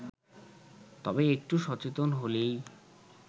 তবে একটু সচেতন হলেই